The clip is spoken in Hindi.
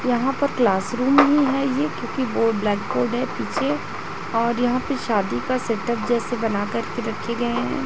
यहां पर क्लासरूम ही है ये क्योंकि वो ब्लैक बोर्ड है पीछे और यहां पे शादी का सेट अप जैसे बना कर के रखे गए हैं।